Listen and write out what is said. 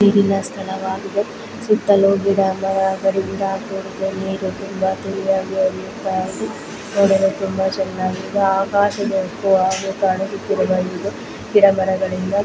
ಸ್ಥಳವಾಗಿದೆ ಸುತ್ತಲು ಗಿಡ ಮರಗಳಿಂದ ಕೂಡಿದೆ ನೀರು ತುಂಬಾ ತಿಳಿಯಾಗಿ ಹರಿಯುತ್ತಿದೆ ನೋಡಲು ತುಂಬಾ ಚೆನ್ನಾಗಿದೆ ಆಕಾಶದೊಂದು ಕಾಣಿಸುತ್ತಿದೆ ಗಿಡ ಮರಗಳಿಂದ --